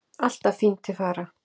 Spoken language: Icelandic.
Alltaf fín til fara.